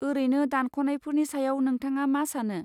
ओरैनो, दानख'नायफोरनि सायाव नोंथाङा मा सानो?